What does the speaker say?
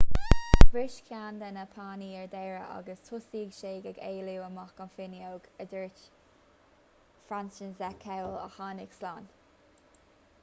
bhris ceann de na pánaí ar deireadh agus thosaigh siad ag éalú amach an fhuinneog a dúirt franciszek kowal a tháinig slán